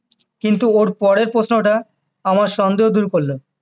কিন্তু ওর পরের প্রশ্নটা আমার সন্দেহ দূর করলো